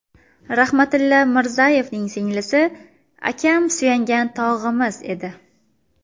Rahmatilla Mirzayevning singlisi: Akam suyangan tog‘imiz edi.